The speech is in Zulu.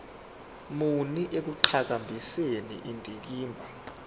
muni ekuqhakambiseni indikimba